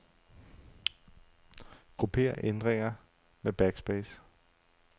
Grupper ændringer med backspace.